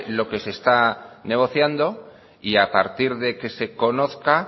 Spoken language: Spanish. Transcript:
lo que se está negociando y a partir de que se conozca